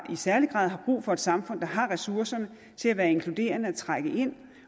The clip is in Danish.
særlig grad har brug for et samfund der har ressourcerne til at være inkluderende og trække ind